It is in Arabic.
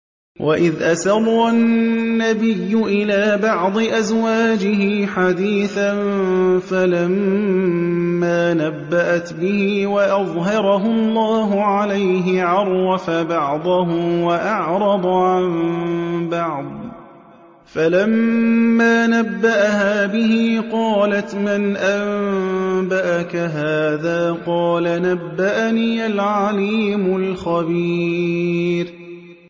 وَإِذْ أَسَرَّ النَّبِيُّ إِلَىٰ بَعْضِ أَزْوَاجِهِ حَدِيثًا فَلَمَّا نَبَّأَتْ بِهِ وَأَظْهَرَهُ اللَّهُ عَلَيْهِ عَرَّفَ بَعْضَهُ وَأَعْرَضَ عَن بَعْضٍ ۖ فَلَمَّا نَبَّأَهَا بِهِ قَالَتْ مَنْ أَنبَأَكَ هَٰذَا ۖ قَالَ نَبَّأَنِيَ الْعَلِيمُ الْخَبِيرُ